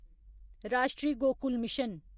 राष्ट्रीय गोकुल मिशन